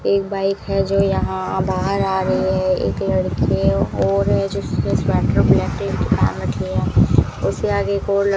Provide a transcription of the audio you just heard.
एक बाइक है जो यहां बाहर आ रही है एक लड़के और है जो पेहन कर ब्लैक कलर की रखी है उसके आगे एक और ल --